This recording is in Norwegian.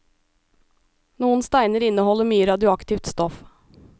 Noen steiner inneholder mye radioaktivt stoff.